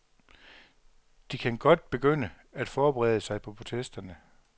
De kan godt begynde at forberede sig på protesterne.